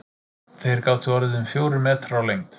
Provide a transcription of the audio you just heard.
Þeir gátu orðið um fjórir metrar á lengd.